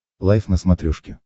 лайф на смотрешке